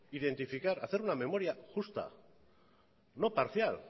identificar hacer una memoria justa no parcial